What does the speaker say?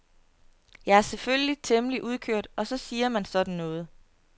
Jeg er selvfølgelig temmelig udkørt og så siger man sådan noget.